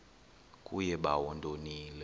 kuye bawo ndonile